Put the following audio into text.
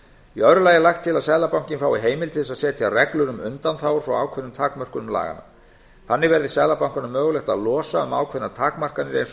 í öðru allt er lagt að seðlabankinn fái heimildir til þess að setja reglur um undanþágur frá ákveðnum takmörkunum laganna þannig verði seðlabankanum mögulegt að losa um ákveðnar takmarkanir eins og